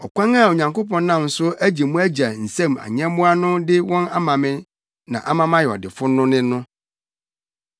Ɔkwan a Onyankopɔn nam so agye mo agya nsam nyɛmmoa no de wɔn ama me ama mayɛ ɔdefo no ne no.